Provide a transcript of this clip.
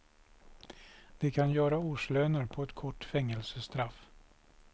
De kan ju göra årslöner på ett kort fängelsestraff.